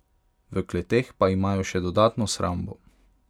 V kleteh pa imajo še dodatno shrambo.